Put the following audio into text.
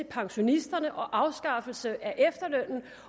pensionisterne og afskaffelsen af efterlønnen